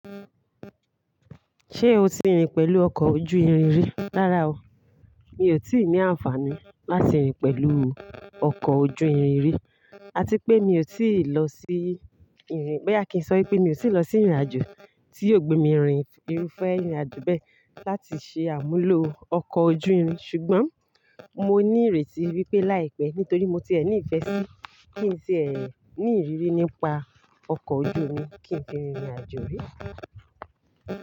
Ṣé o ti rin pẹ̀lú ọkọ̀ ojú irin rí? Rárá o, mi ò tíì ní àǹfààní láti rin pẹ̀lú ọkọ̀ ojú irin rí. A ti pé mi ò tíì lọ sí ìrìn-- boyà kí n sọ pé mi ò tí ì lọ sí ìrìnàjò tí yóò gbé mi rin ìrúfẹ́ ìrìnàjò bẹ́ẹ̀ láti ṣe àmúlò ọkọ̀ ojú irin. Ṣùgbọ́n mo ní ìrètí wípé láìpẹ́ nítorí mo ti ẹ̀ ní ìfẹ́ sí kí n tìẹ̀ ní ìrírí nípa ọkọ̀ ojú omi kí n fi rin ìrìnàjò rí.